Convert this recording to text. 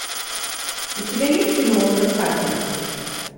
у тебя есть кино остров харпера